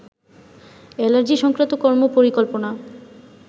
allergy সংক্রান্ত কর্ম পরিকল্পনা